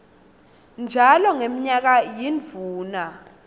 njalo ngemnyaka yindvuna